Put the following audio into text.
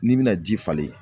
N'i bɛna ji falen